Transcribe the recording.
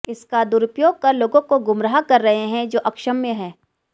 इसका दुरुपयोग कर लोगों को गुमराह कर रहे हैं जो अक्षम्य है